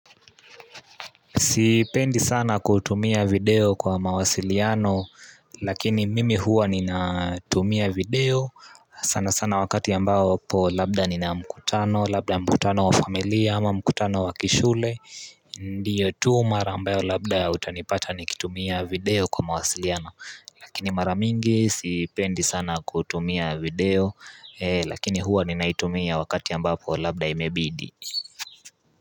Sipendi sana kutumia video kwa mawasiliano lakini mimi huwa nina tumia video sana sana wakati ambao po labda nina mkutano, labda mkutano wa familia ama mkutano wa kishule Ndiyo tu mara ambayo labda utanipata nikitumia video kwa mawasiliano Lakini maramingi sipendi sana kutumia video lakini huwa nina itumia wakati ambapo labda imebidi.